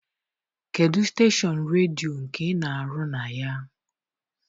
Kedụ steshọn redio nke ị na-arụ na ya?